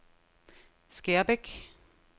Skærbæk